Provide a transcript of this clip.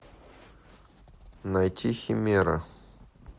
найти химера